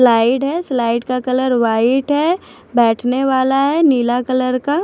slide है slide का colour white है बैठने वाला है नीला कलर का--